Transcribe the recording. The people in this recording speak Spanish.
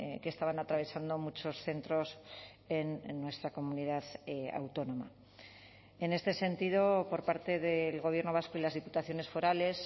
que estaban atravesando muchos centros en nuestra comunidad autónoma en este sentido por parte del gobierno vasco y las diputaciones forales